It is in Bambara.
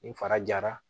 Nin fara jara